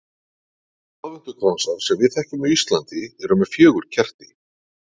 Aðventukransar sem við þekkjum á Íslandi eru með fjögur kerti.